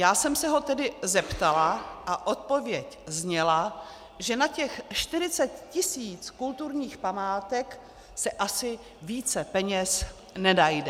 Já jsem se ho tedy zeptala a odpověď zněla, že na těch 40 tisíc kulturních památek se asi více peněz nenajde.